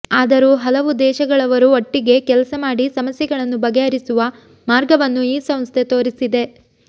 ಆದರೂ ಹಲವೂ ದೇಶಗಳವರು ಒಟ್ಟಿಗೆ ಕೆಲಸಮಾಡಿ ಸಮಸ್ಯೆಗಳನ್ನು ಬಗೆಹರಿಸುವ ಮಾರ್ಗವನ್ನು ಈ ಸಂಸ್ಥೆ ತೋರಿಸಿದೆ